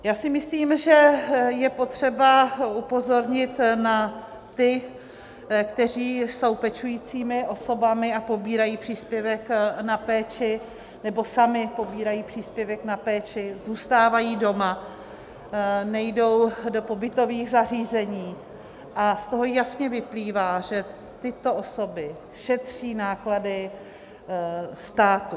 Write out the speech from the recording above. Já si myslím, že je potřeba upozornit na ty, kteří jsou pečujícími osobami a pobírají příspěvek na péči, nebo sami pobírají příspěvek na péči, zůstávají doma, nejdou do pobytových zařízení, a z toho jasně vyplývá, že tyto osoby šetří náklady státu.